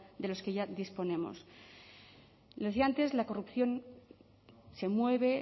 de los que ya disponemos lo decía antes la corrupción se mueve